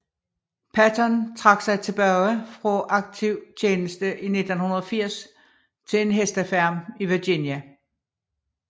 Patton trak sig tilbage fra aktiv tjeneste i 1980 til en hestefarm i Virginia